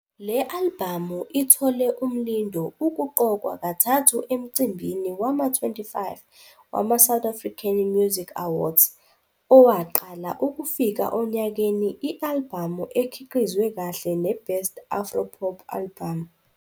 Le albhamu ithole uMlindo ukuqokwa kathathu emcimbini wama-25 wamaSouth African Music Awards, Owaqala ukufika onyakeni, i-albhamu ekhiqizwe kahle neBest Afro Pop Album.